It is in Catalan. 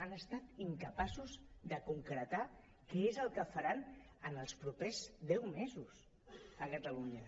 han estat incapaços de concretar què és el que faran en els propers deu mesos a catalunya